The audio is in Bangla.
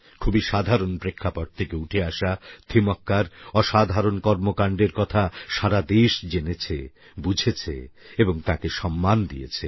খুবই সাধারণ প্রেক্ষাপট থেকে উঠে আসা থিমক্কার অসাধারণ কর্মকাণ্ডের কথা সারা দেশ জেনেছে বুঝেছে এবং তাঁকে সম্মান দিয়েছে